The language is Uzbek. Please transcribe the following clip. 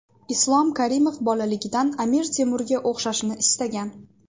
Islom Karimov bolaligidan Amir Temurga o‘xshashni istagan.